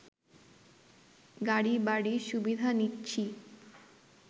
গাড়ি বাড়ি সুবিধা নিচ্ছি